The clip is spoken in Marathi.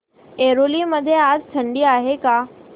ऐरोली मध्ये आज थंडी आहे का